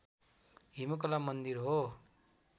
हिमकला मन्दिर हो